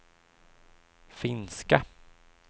finska